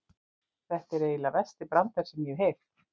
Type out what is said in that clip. Þetta er eiginlega versti brandari sem ég hef heyrt.